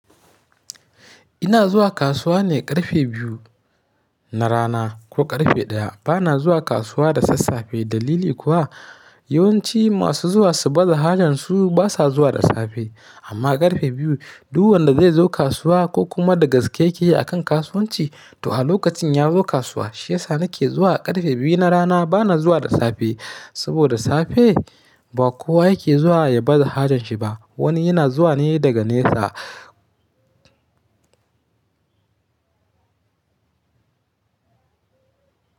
Ina zuwa kasuwa ne ƙarfe biyu na rana ko ƙarfe ɗaya. Bana zuwa kasuwa da sassafe dalili kuwa yawanci masu zuwa su baza hajar su basa zuwa da safe. Amma ƙarfe biyu duk wanda zai zo kasuwa ko kuma da gaske yake akan kasuwanci to a lokacin ya zo kasuwa. Shi yasa nake zuwa ƙarfe biyu na rana bana zuwa da safe. Saboda safe ba kowa yake zuwa ya baza hajar shi ba. Wani yana zuwa ne daga nesa.